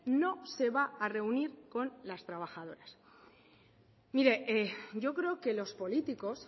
no se va a reunir con las trabajadoras mire yo creo que los políticos